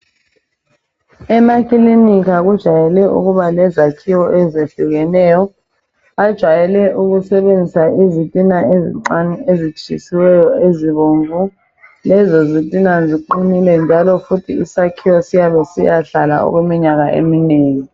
Emakikinika kujayele ukuba lezakhiwo ezehlukeneyo ajayele ukusebenzisa izintina ezincane ezitshisiweyo ezibomvu lezo zintina ziqinile njalo futhi isakhiwo siyabe siyahlala okweminyaka eminengi.